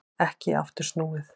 Ekki aftur snúið